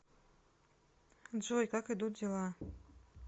джой как идут дела